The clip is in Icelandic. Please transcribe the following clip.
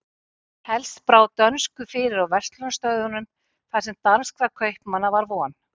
helst brá dönsku fyrir á verslunarstöðunum þar sem danskra kaupmanna var von